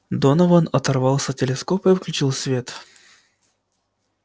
донован оторвался от телескопа и включил свет